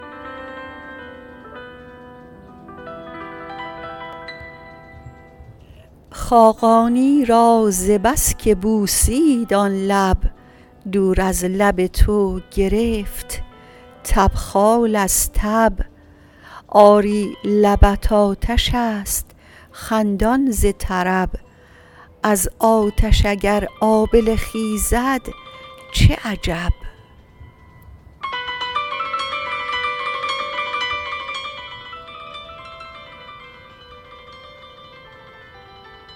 خاقانی را ز بس که بوسید آن لب دور از لب تو گرفت تبخال از تب آری لبت آتش است خندان ز طرب از آتش اگر آبله خیزد چه عجب